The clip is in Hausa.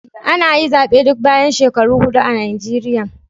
Ana yi zabe duk bayan shekaru hudu a Nijeriya.